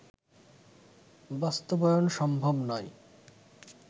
বাস্তবায়ন সম্ভব নয়